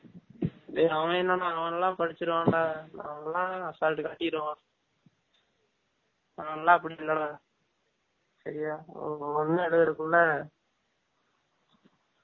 டேய் அவன் எனனா அவன்லாம் படிசிருவான் டா அவன்லா assault காட்டிருவான், நான்லா அப்டி இல்ல டா சரியா ஒன்னு எலுதுரதுகுல்ல